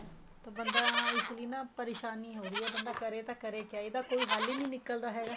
ਤਾਂ ਬੰਦਾ ਇਸ ਲਈ ਨਾ ਪਰੇਸ਼ਾਨੀ ਹੋ ਰਹੀ ਹੈ ਬੰਦਾ ਕਰੇ ਤਾਂ ਕਰੇ ਕਿਹਾ ਇਹਦਾ ਕੋਈ ਹੱਲ ਹੀ ਨਹੀਂ ਨਿੱਕਲਦਾ ਹੈਗਾ